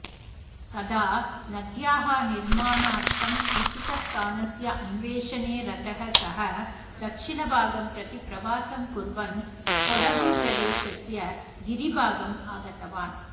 तदा नद्याः निर्माणार्थम् उचितस्थानस्य अन्वेषणे रतः सः दक्षिणभागं प्रति प्रवासं कुर्वन् कोडगुप्रदेशस्य गिरिभागम् आगतवान्